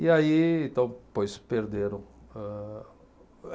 E aí, então, por isso perderam. Âh